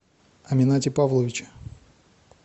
аминате павловиче